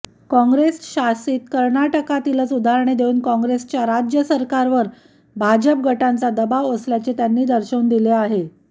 काँग्रेसशासित कर्नाटकातीलच उदाहरणे देऊन काँग्रेसच्या राज्य सरकारवर भाजप गटांचा दबाव असल्याचे त्यांनी दर्शवून दिले आहे